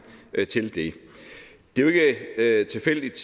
til det det er jo ikke tilfældigt